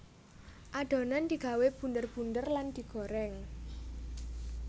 Adonan digawé bunder bunder lan digoreng